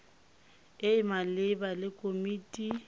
e e maleba le komiti